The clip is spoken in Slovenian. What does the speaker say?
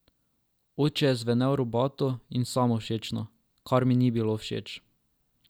Oče je zvenel robato in samovšečno, kar mi ni bilo všeč.